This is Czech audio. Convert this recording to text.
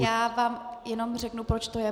Já vám jenom řeknu, proč to je.